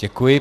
Děkuji.